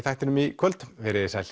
þættinum í kvöld verið þið sæl